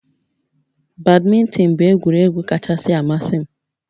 Badminton bụ egwuregwu kachasị amasị m